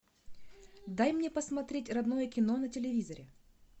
дай мне посмотреть родное кино на телевизоре